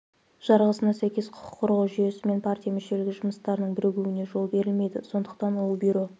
жарғысына сәйкес құқық қорғау жүйесі мен партия мүшелігі жұмыстарының бірігуіне жол берілмейді сондықтан ол бюро